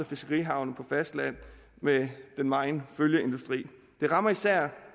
fiskerihavne på fastlandet med den megen følgeindustri det rammer især